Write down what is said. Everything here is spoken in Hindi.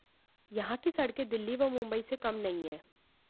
यहां की सड़कें दिल्ली व मुंबई से कम नहीं हैं